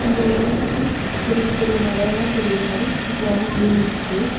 இந்த ஏரியா சுத்தி பெரிய பெரிய மலையெல்லா தெரியிற மாரி சூப்பரான வியூ இருக்குது.